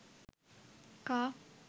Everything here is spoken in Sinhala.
car